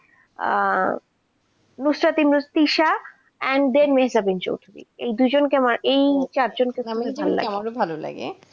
Ah Mustafiz miss Tisha and then Mirza Birju এই দুজন কে আমার এই চার জন কে দারুন ভালো লাগে.